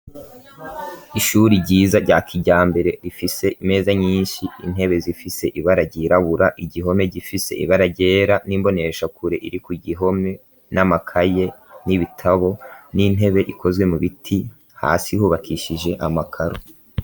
Ishuri ryiza rya kijambere ifise imeza nyinshi intebe zifise ibara ryirabura igihome gifise ibara ryera n'imboneshakure iri ku gihome, n'amakaye, n'ibitabo, n'intebe ikozwe mu biti hasi hubakishije amakaro.